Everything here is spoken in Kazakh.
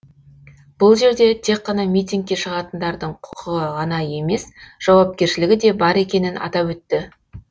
бұл жерде тек қана митингке шығатындардың құқығы ғана емес жауапкершілігі де бар екенін атап өтті